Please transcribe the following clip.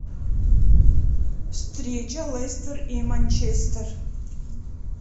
встреча лестер и манчестер